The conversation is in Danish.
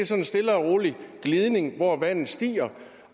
sådan stille og roligt glidning hvor vandet stiger